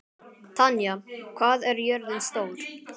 Tanya, hvað er jörðin stór?